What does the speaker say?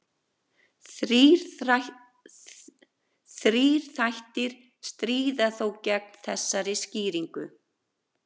Þrír þættir stríða þó gegn þessari skýringu.